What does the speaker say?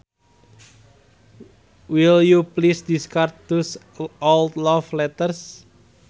Will you please discard those old love letters